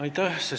Aitäh!